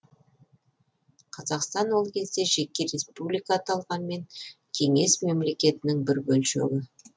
қазақстан ол кезде жеке республика аталғанмен кеңес мемлекетінің бір бөлшегі